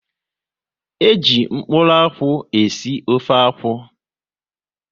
E ji mkpụrụ akwụ e si ofe akwụ